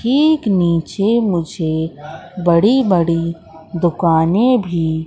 एक नीचे मुझे बड़ी बड़ी दुकाने भी--